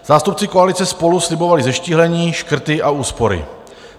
Zástupci koalice SPOLU slibovali zeštíhlení, škrty a úspory.